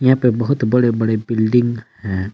यहां पे बहुत बड़े बड़े बिल्डिंग हैं।